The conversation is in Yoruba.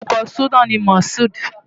Orúkọ súná ni Mashood.